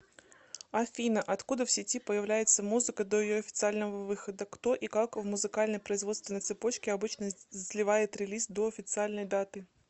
афина откуда в сети появляется музыка до ее официального выхода кто и как в музыкальной производственной цепочке обычно сливает релиз до официальной даты